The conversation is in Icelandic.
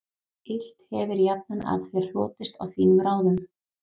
Illt hefir jafnan af þér hlotist og þínum ráðum